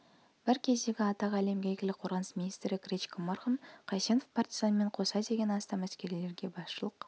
бір кездегі атағы әлемге әйгілі қорғаныс министрі гречко марқұм қайсенов партизанмен қоса ден астам әскерилерге басшылық